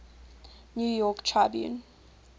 new york tribune